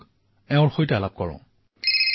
আহক তেওঁৰ সৈতে কিছু কথা হও